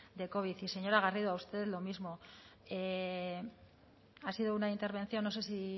de covid y señora garrido a usted lo mismo ha sido una intervención no sé si